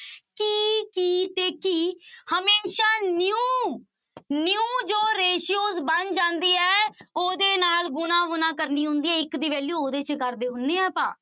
ਕੀ ਕੀ ਤੇ ਕੀ ਹਮੇਸ਼ਾ new new ਜੋ ratio ਬਣ ਜਾਂਦੀ ਹੈ ਉਹਦੇ ਨਾਲ ਗੁੁਣਾ ਵੁਣਾ ਕਰਨੀ ਹੁੰਦੀ ਹੈ ਇੱਕ ਦੀ value ਉਹਦੇ ਚ ਕਰਦੇ ਹੁੰਦੇ ਹਾਂ ਆਪਾਂ।